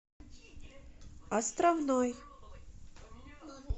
островной